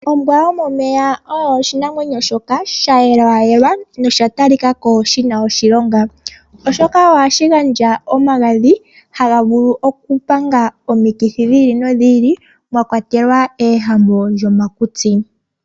Ombwa yomomeya oyo oshinamwenyo shoka shayelwayelwa nosha talikako shina oshilonga, oshoka ohashi gandja omagadhi haga vulu okupanga omikithi dhi ili nodhi ili, mwakwatelwa uuwehame womakutsi.